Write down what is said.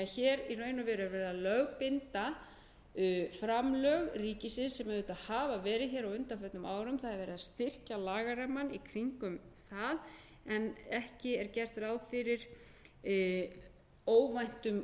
hér er því í raun og veru verið að lögbinda framlög ríkisins sem auðvitað hafa verið hér á undanförnum árum það er verið að styrkja lagarammann í kringum það en ekki er gert ráð fyrir óvæntum útgjaldaauka í þessu samhengi fyrir utan það sem